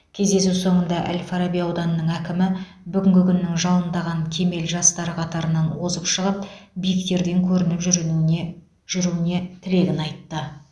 кездесу соңында әл фараби ауданының әкімі бүгінгі күннің жалындаған кемел жастары қатарынан озып шығып биіктерден көрініп жүруіне жүруіне тілегін айтты